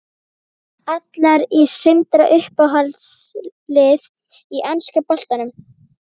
Allar í Sindra Uppáhalds lið í enska boltanum?